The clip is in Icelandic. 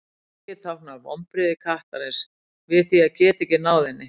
gaggið táknar vonbrigði kattarins við því að geta ekki náð henni